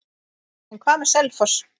En hvað með Selfoss?